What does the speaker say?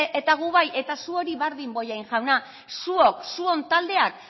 eta gu bai eta zuoi bardin bollain jauna zuok zuon taldeak